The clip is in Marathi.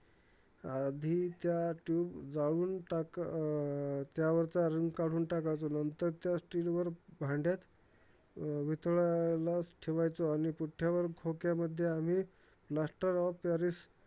आम्ही त्या tube जाळून टाक अं त्यावरचा रंग काढून टाकायचो. नंतर त्या still वर भांड्यात अं वितळायला चं ठेवायचो आणि पुठ्ठ्यावर खोक्यामध्ये, आम्ही plaster of paris